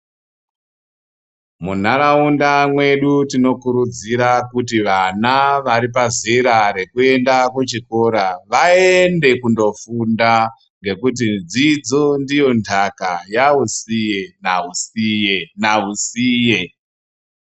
Munharaunda mwedu tinokurudzira kuti vana vari pazera rekuende kuchikora vaende kundofunda ngekuti dzidzo ndiye ntaka yaosiye naosiye naosiye.